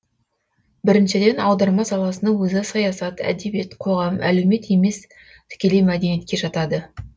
біріншіден аударма саласының өзі саясат әдебиет қоғам әлеумет емес тікелей мәдениетке жатады